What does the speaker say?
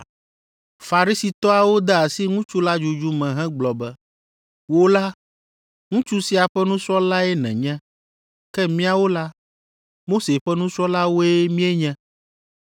Farisitɔawo de asi ŋutsu la dzudzu me hegblɔ be, “Wò la, ŋutsu sia ƒe nusrɔ̃lae nènye, ke míawo la, Mose ƒe nusrɔ̃lawoe míenye.